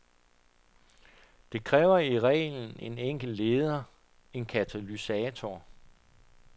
Det kræver i reglen en enkelt leder, en katalysator.